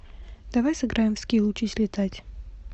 давай сыграем в скил учись летать